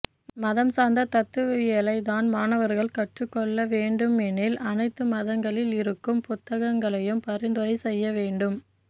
மதம் சார்ந்த தத்துவவியலை தான் மாணவர்கள் கற்றுக் கொள்ள வேண்டுமெனில் அனைத்து மதங்களில் இருக்கும் புத்தகங்களையும் பரிந்துரை செய்ய வேண்டும்